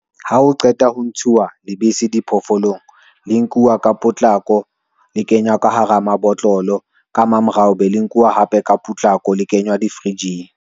Ha o qeta ho ntshuwa lebese diphoofolong le nkuwa ka potlako le kena ka hara mabotlolo ka mamorao, be le nkuwa hape ka potlako le kenywa di-fridge-ng.